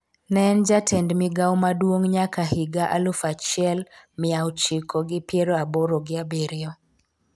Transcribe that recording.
ne en jatend migawo maduong' nyaka higa aluf achiel miya ochiko gi piero aboro gi abiriyo